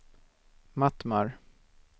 Mattmar